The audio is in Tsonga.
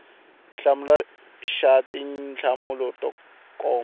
hlamula xa tinhlamulo to koma